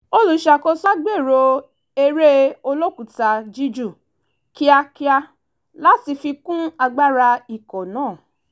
olùṣàkóso wa gbèrò eré olókùúta juíjù kíákíá láti fi kún agbára ikọ̀ náà